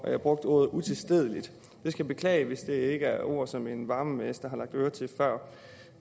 at jeg brugte ordet utilstedeligt jeg skal beklage hvis det ikke er ord som en varmemester har lagt øre til før